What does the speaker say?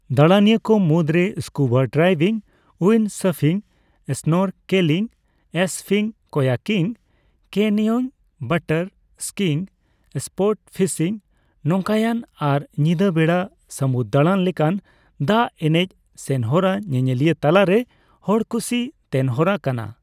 ᱫᱟᱲᱟᱱᱤᱭᱟᱹ ᱠᱚ ᱢᱩᱫᱨᱮ ᱥᱠᱩᱵᱟ ᱰᱟᱭᱵᱷᱤᱝ, ᱩᱭᱤᱱᱰᱥᱟᱯᱷᱤᱝ, ᱥᱱᱚᱨᱠᱮᱞᱤᱝ ᱮᱥᱯᱷᱤᱜ, kayaking, canoeing, water skiing, sportfishing, ᱱᱳᱠᱟᱭᱚᱱ ᱟᱨ ᱧᱤᱫᱟᱹ ᱵᱮᱲᱟ ᱥᱟᱹᱢᱩᱫ ᱫᱟᱲᱟᱱ ᱞᱮᱠᱟᱱ ᱫᱟᱜ ᱮᱱᱮᱡ ᱥᱮᱱᱦᱚᱨᱟ ᱧᱮᱧᱮᱞᱤᱭᱟᱹ ᱛᱟᱞᱟ ᱨᱮ ᱦᱚᱲᱠᱩᱥᱤ ᱛᱮᱱᱦᱚᱨᱟ ᱠᱟᱱᱟ ᱾